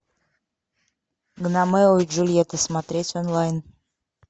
ромео и джульетта смотреть онлайн